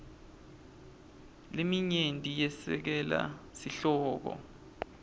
leminyenti yesekela sihloko